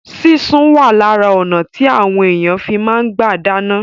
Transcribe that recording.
Sísun wà lára ọnà tí àwọn èèyàn fi máa ń gbà dáná